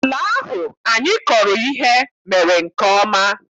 Ala ahụ anyị kọrọ ihe mere nke ọma.